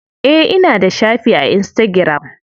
Eh ina da shafi a insitagiram.